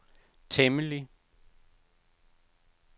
temmelig